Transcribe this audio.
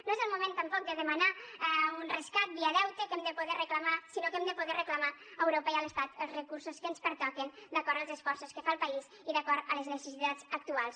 no és el moment tampoc de demanar un rescat via deute sinó que hem de poder reclamar a europa i a l’estat els recursos que ens pertoquen d’acord amb els esforços que fa el país i d’acord amb les necessitats actuals